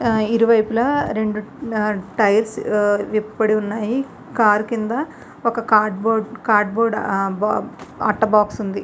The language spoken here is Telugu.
ఆ ఇరువైపులా రెండు ఆ టైర్స్ ఆ విప్పిబడి ఉన్నాయి. కార్ కింద ఒక కార్డు బోర్డు అట్ట బాక్స్ ఉంది.